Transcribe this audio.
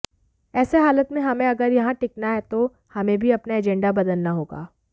ऐसे हालात में हमें अगर यहां टिकना है तो हमें भी अपना एजेंडा बदलना होगा